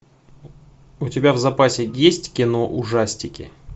у тебя в запасе есть кино ужастики